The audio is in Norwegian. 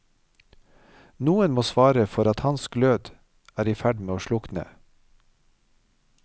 Noen må svare for at hans glød er i ferd med å slukne.